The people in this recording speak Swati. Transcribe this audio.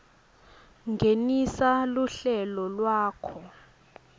ngenisa luhlelo lwakho